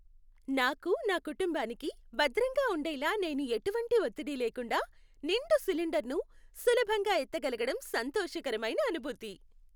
నాకు, నా కుటుంబానికి భద్రంగా ఉండేలా నేను ఎటువంటి ఒత్తిడి లేకుండా నిండు సిలిండర్ను సులభంగా ఎత్తగలగడం సంతోషకరమైన అనుభూతి.